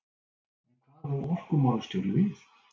En hvað á orkumálastjóri við?